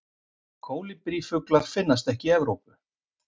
Kólibrífuglar finnast ekki í Evrópu.